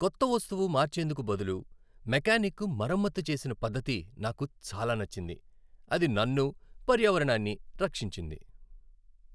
కొత్త వస్తువు మార్చేందుకు బదులు మెకానిక్ మరమ్మతు చేసిన పద్ధతి నాకు చాలా నచ్చింది. అది నన్ను, పర్యావరణాన్ని రక్షించింది.